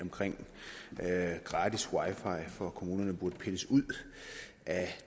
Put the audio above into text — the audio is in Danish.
med gratis wi fi for kommunerne burde pilles ud af